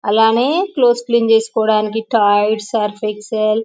అలానే clothes clean చేసుకోవడానికి Tide Surf Excel --